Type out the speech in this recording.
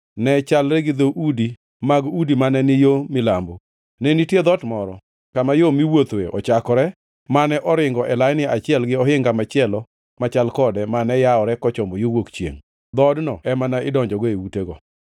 ne chalre gi dhoudi mag udi mane ni yo milambo. Ne nitie dhoot moro kama yo miwuothoe ochakore mane oringo e laini achiel gi ohinga machielo machal kode mane yawore kochomo yo wuok chiengʼ. Dhoodno ema ne idonjogo e utego.